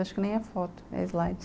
Acho que nem é foto, é slide.